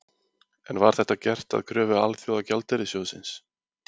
En var þetta gert að kröfu Alþjóðagjaldeyrissjóðsins?